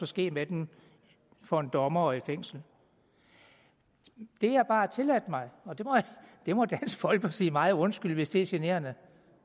ske med dem for en dommer og i fængsel det jeg bare har tilladt mig og det må dansk folkeparti meget undskylde hvis det er generende